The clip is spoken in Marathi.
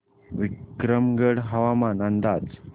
विक्रमगड हवामान अंदाज